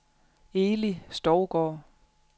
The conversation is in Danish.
Eli Stougaard